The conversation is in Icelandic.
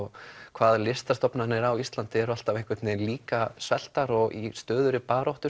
hvað listastofnanir á Íslandi eru alltaf líka sveltar og í stöðugri baráttu